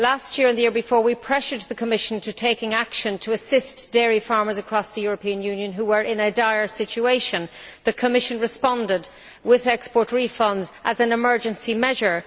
Last year and the year before, we pressed the Commission to take action to assist dairy farmers across the European Union who were in a dire situation. The Commission responded with export refunds as an emergency measure.